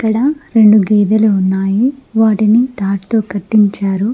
ఇక్కడ రెండు గేదెలు ఉన్నాయి వాటిని తాటితో కట్టించారు.